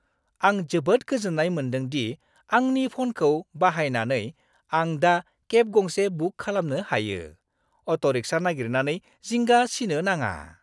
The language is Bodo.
आं जोबोद गोजोननाय मोनदों दि आंनि फ'नखौ बाहायनानै आं दा केब गंसे बुक खालामनो हायो, अट'-रिक्शा नागिरनानै जिंगा सिनो नाङा।